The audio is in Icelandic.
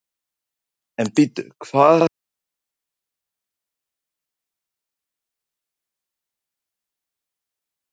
En bíddu, hvar eru menn lentir þá með þessa umræðu ef þetta er svona?